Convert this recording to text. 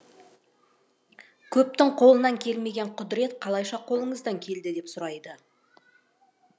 көптің қолынан келмеген құдірет қалайша қолыңыздан келді деп сұрайды